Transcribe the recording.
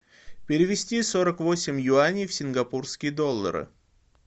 перевести сорок восемь юаней в сингапурские доллары